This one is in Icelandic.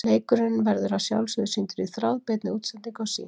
Leikurinn verður að sjálfsögðu sýndur í þráðbeinni útsendingu á Sýn.